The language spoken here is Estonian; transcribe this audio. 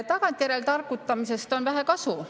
Tagantjärele targutamisest on vähe kasu.